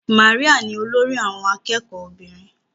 Maria ni olórí àwọn akẹ́kọ̀ọ́ obìnrin.